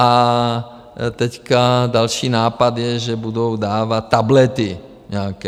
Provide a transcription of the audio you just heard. A teď další nápad je, že budou dávat tablety nějaké.